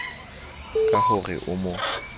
ka ho re o mo